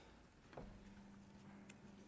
vi